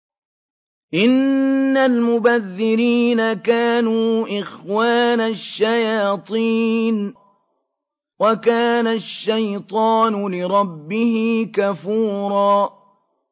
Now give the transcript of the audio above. إِنَّ الْمُبَذِّرِينَ كَانُوا إِخْوَانَ الشَّيَاطِينِ ۖ وَكَانَ الشَّيْطَانُ لِرَبِّهِ كَفُورًا